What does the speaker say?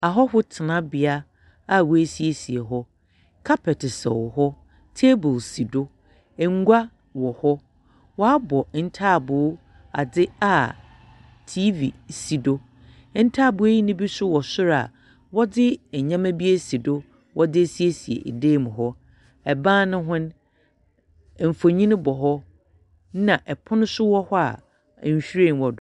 Ahɔhoɔ tenabea a woehyiahyia hɔ. Kapɛte sɛw hɔ. Table si do. Ngua wɔ hɔ. Wɔabɔ ntaabo adze a TV si do. Ntaaboo yi bi nso wɔ sor a wɔdze nnyama bi esi do wɔdze esiesie dan no mu hɔ. Ban no ho no, mfonin bɔ hɔ, ɛnna pon nso wɔ hɔ a nhwiren wɔ do.